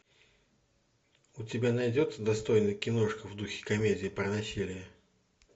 у тебя найдется достойная киношка в духе комедии про насилие